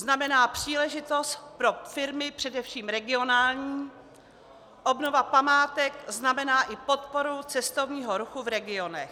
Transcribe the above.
Znamená příležitost pro firmy, především regionální, obnova památek znamená i podporu cestovního ruchu v regionech.